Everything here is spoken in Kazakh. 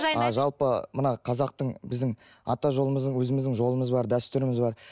а жалпы мына қазақтың біздің ата жолымыздың өзіміздің жолымыз бар дәстүріміз бар